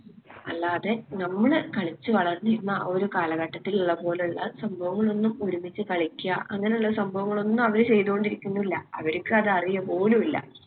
അല്ലാതെ ഞമ്മള് കളിച്ചു വളർന്നിരുന്ന ആ ഒരു കാലഘട്ടത്തിലിള്ള പോലുള്ള സംഭവങ്ങളൊന്നും ഒരുമിച്ച് കളിക്കാ അങ്ങനുള്ള സംഭവങ്ങളൊന്നും അവര് ചെയ്തുകൊണ്ടിരിക്കുന്നില്ല അവര്ക്ക് അത് അറിയ പോലു ഇല്ല